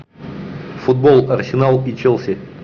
футбол арсенал и челси